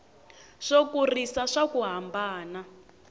swo kurisa swa ku hambana